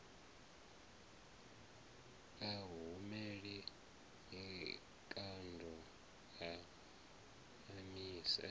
a hamule mikando a mamise